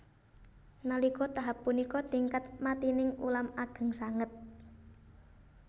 Nalika tahap punika tingkat matining ulam ageng sanget